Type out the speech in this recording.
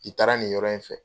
I taara nin yɔrɔ in fɛ